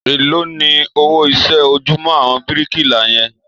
Èló ni owó iṣẹ́ ojúmọ́ àwọn bíríkìlà yẹn?